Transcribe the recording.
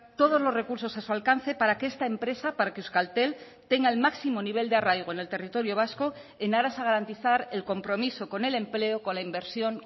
todos los recursos a su alcance para que esta empresa para que euskaltel tenga el máximo nivel de arraigo en el territorio vasco en aras a garantizar el compromiso con el empleo con la inversión